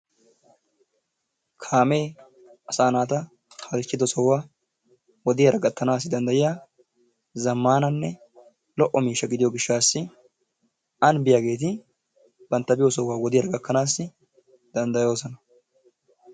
Kaamee asaa naata halchchiddo sohuwa wodiyaara gattanaassi danddayiya zammananne lo"o miishshaa gidiyo gishshaassi anbbiyageeti bantta biyo sohuwa wodiyaara gakanaassi danddayoosona.